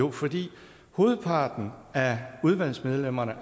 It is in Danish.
er fordi hovedparten af udvalgsmedlemmerne